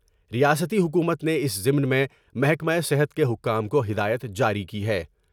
ریاستی حکومت نے اس ضمن میں محکمہ صحت کے حکام کو ہدایت جاری کی ہے ۔